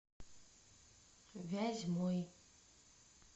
вязьмой